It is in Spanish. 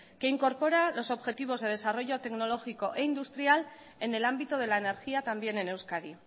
que incorpora los objetivos de desarrollo tecnológico e industria en el ámbito de la energía también en euskadi